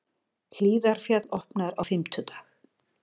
Hlíðarfjall opnar á fimmtudag